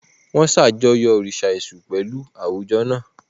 Wọ́n ṣàjọyọ̀ òrìṣà Èṣù pẹ̀lú àwùjọ náà.